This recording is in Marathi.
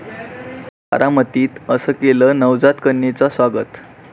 बारामतीत 'असं' केलं नवजात कन्येचं स्वागत